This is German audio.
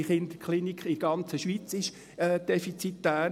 jede Kinderklinik in der ganzen Schweiz ist defizitär.